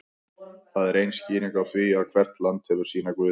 það er ein skýringin á því að hvert land hefur sína guði